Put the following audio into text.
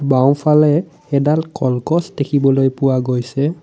বাওঁ ফালে এডাল কলগছ দেখিবলৈ পোৱা গৈছে।